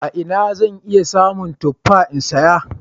A ina zan iya samun tuffa in saya?